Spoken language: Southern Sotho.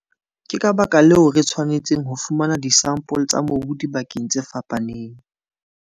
Ke ka baka leo re tshwanetseng ho fumana disampole tsa mobu dibakaneng tse fapaneng.